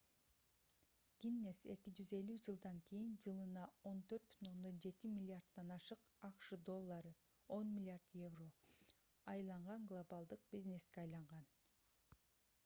гиннес 250 жылдан кийин жылына 14,7 миллиарддан ашык акш доллары 10 миллиард евро айланган глобалдык бизнеске айланган